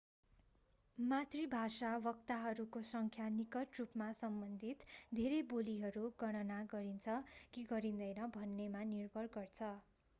मातृभाषा वक्ताहरूको संख्या निकट रुपमा सम्बन्धित धेरै बोलीहरू गणना गरिन्छ कि गरिँदैन भन्नेमा निर्भर गर्छ